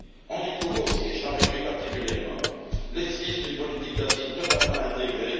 On y trouve aussi et je m'en réjouis particulièrement l'esquisse d'une politique d'asile totalement intégrée.